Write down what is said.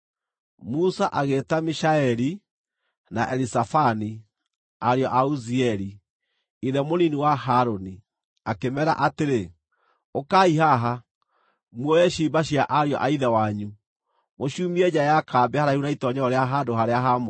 Musa agĩĩta Mishaeli na Elizafani, ariũ a Uzieli, ithe mũnini wa Harũni, akĩmeera atĩrĩ, “Ũkai haha, muoye ciimba cia ariũ a ithe wanyu, mũciumie nja ya kambĩ haraihu na itoonyero rĩa handũ-harĩa-haamũre.”